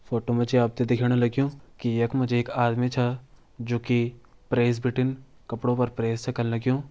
फ़ोटो मजी आपते दिखेणा लग्युं की यक मजी एक आदमी छा जो की प्रेस बिटिन कपड़ों पर प्रेस च कन्न लग्युं।